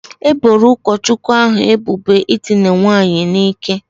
E boro ụkọchukwu ahu ebubo ịdịna nwaanyị n'ike